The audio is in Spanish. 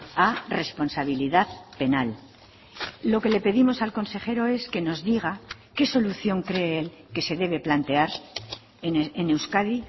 a responsabilidad penal lo que le pedimos al consejero es que nos diga qué solución cree él que se debe plantear en euskadi